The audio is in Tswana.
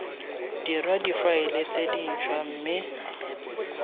dirwa difaele tse dintshwa mme